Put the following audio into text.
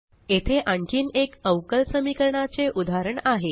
येथे आणखीन एक अवकल समीकरणाचे उदाहरण आहे